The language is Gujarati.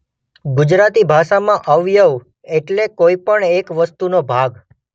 ગુજરાતી ભાષામાં અવયવ એટલે કોઇપણ એક વસ્તુનો ભાગ.